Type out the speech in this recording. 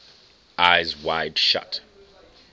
eyes wide shut